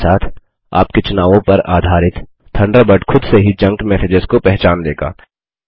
समय के साथ आपके चुनावों पर आधारित थंडरबर्ड खुद से ही जंक मैसेजेस को पहचान लेगा